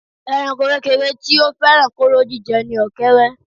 Ẹranko kékeré tí ó fẹ́ràn kóró jíjẹ ni ọ̀kẹ́érẹ́